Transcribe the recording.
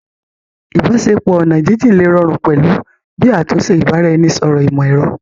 Ìbáṣepọ̀ oní ọ̀nà jínjín lè rọrùn pẹ̀lú bí àtúnṣe ìbára-ẹni-sọ̀rọ̀ ìmọ̀ ẹ̀rọ